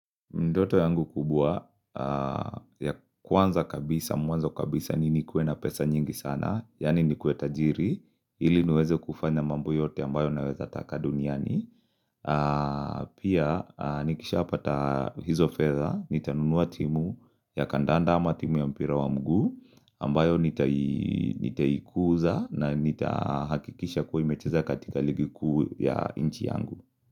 Ndoto yangu kubwa ya kwanza kabisa, mwanzo kabisa ni nikuwe na pesa nyingi sana, yaani nikuwe tajiri, ili niweze kufanya mambo yote ambayo naweza taka duniani. Pia, nikishapata hizo fedha, nitanunua timu ya kandanda ama timu ya mpira wa mguu, ambayo nitaikuza na nitahakikisha kuwa imecheza katika ligi kuu ya nchi yangu.